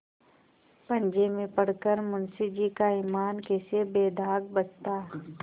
पंजे में पड़ कर मुंशीजी का ईमान कैसे बेदाग बचता